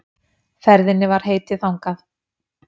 Ferðinni var heitið þangað.